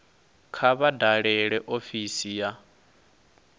kha vha dalele ofisi ya